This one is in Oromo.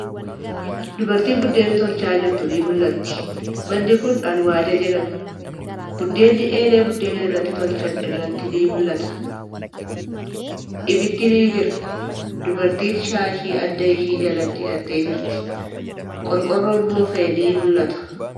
Dubartiin biddeena tolchaa jirtu ni mul'atti. Manni kuni alwaada jedhama. Biddeenni eelee biddeena irratti tolchan irratti ni mul'ata. Ibiddi ni jira. Dubartiin shaashii adda ishee jala hidhattee jirti. Qorqoorron moofa'e ni mul'ata.